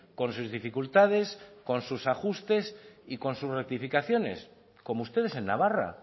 con sus dificultades con sus ajustes y con sus rectificaciones como ustedes en navarra